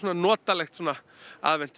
notalegur